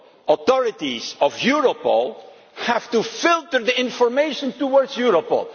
national authorities of Europol have to filter the information to